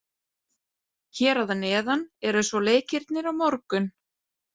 Hér að neðan eru svo leikirnir á morgun.